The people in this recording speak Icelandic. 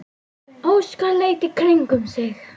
Óskar leit í kringum sig.